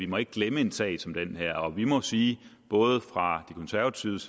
må glemme en sag som den her og vi må sige både fra de konservatives